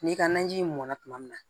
N'i ka naji mɔnna tuma min na